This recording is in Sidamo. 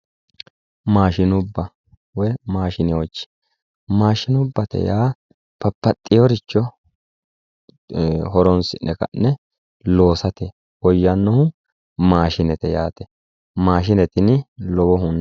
Maashinubba woy maashinewoochi maashinubbate yaa babbaxxewooricho horoonsi'ne loonsannirichi maashinete yaate maashine tini lowohunni